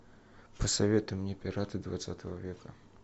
посоветуй мне пираты двадцатого века